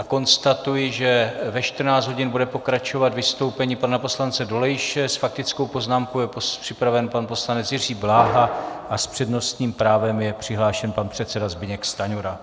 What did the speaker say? A konstatuji, že ve 14.00 hodin bude pokračovat vystoupení pana poslance Dolejše, s faktickou poznámkou je připraven pan poslanec Jiří Bláha a s přednostním právem je přihlášen pan předseda Zbyněk Stanjura.